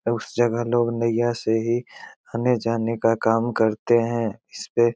उस जगह लोग नैया से ही आने-जाने का काम करते हैं इसपे --